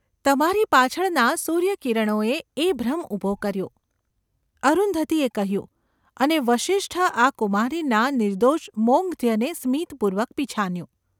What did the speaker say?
તમારી પાછળનાં સૂર્યકિરણોએ એ ભ્રમ ઊભો કર્યો !’ અરુંધતીએ કહ્યું અને વસિષ્ઠ આ કુમારીના નિર્દોષ મૌગ્ધ્યને સ્મિતપૂર્વક પિછાન્યું.